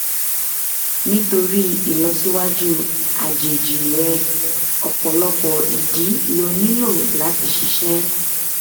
nítorí ìlọsíwájú àjèjì rẹ ọpọlọpọ ìdí ló nílò láti ṣiṣẹ